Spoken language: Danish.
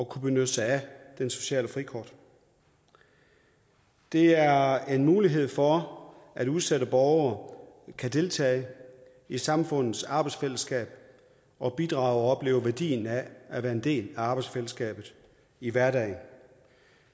kunne benytte sig af det sociale frikort det er en mulighed for at udsatte borgere kan deltage i samfundets arbejdsfællesskab og bidrage og opleve værdien af at være en del af arbejdsfællesskabet i hverdagen